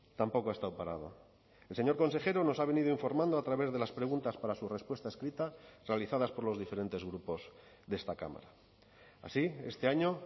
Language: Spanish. tampoco ha estado parado el señor consejero nos ha venido informando a través de las preguntas para su respuesta escrita realizadas por los diferentes grupos de esta cámara así este año